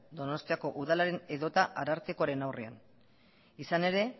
donostiako udalaren edota arartekoren aurrean izan ere